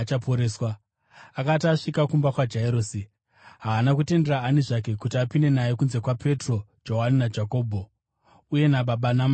Akati asvika kumba kwaJairosi, haana kutendera ani zvake kuti apinde naye kunze kwaPetro, Johani naJakobho, uye nababa namai vomwana.